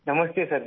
नमस्ते सर जी